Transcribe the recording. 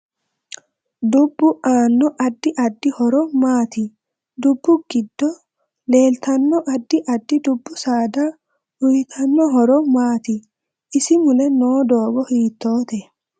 Dubbu aanno addi addi horo maati dubbu giddo leeltanno addi addi dubbu saada uyiotanno horo maati isi mule noo doogo hiitoote